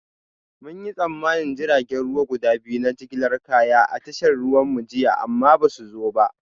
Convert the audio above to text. Mun yi tsammanin jiragen ruwa guda biyu na jigilar kaya a tashar ruwanmu jiya amma ba su zo ba